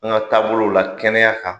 An ka taabolo u la kɛnɛya kan.